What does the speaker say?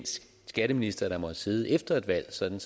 skatteminister der måtte sidde efter et valg sådan